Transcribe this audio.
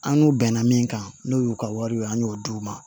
An n'u bɛnna min kan n'o y'u ka wariw ye an y'o d'u ma